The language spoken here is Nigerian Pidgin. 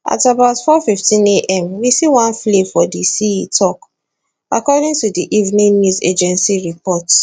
at about 415am we see one flare for di sea e tok according to di evn news agency reports